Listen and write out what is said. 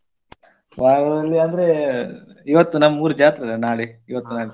ವಾರದಲ್ಲಿ ಅಂದ್ರೆ ಇವತ್ತು ನಮ್ಮೂರ್ ಜಾತ್ರೆ ಅಲ್ಲ ನಾಳೆ ಇವತ್ತು ನಾಳೆ.